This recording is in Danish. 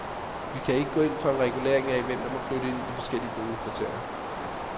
Vi kan ikke gå ind for en regulering af, hvem der må flytte ind i de forskellige boligkvarterer.